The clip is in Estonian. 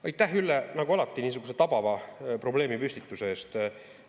Aitäh, Ülle, nagu alati niisuguse tabava probleemipüstituse eest!